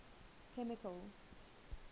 chemical